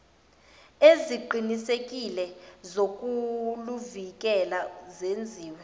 eziqinisekile zokuluvikela zenziwe